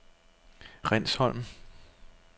Rindsholm